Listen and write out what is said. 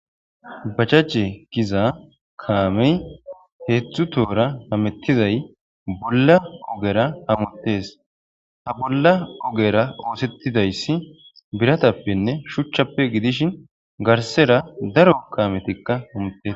Bajaje gizza kame hedzdzu tohuwara hametizzay bolla ogera hamutes bolla ogera oseththidaysi shuchchappe giddishshen gariserra daro kamettikka de'osona.